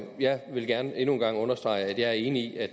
jeg vil gerne endnu en gang understrege at jeg er enig i at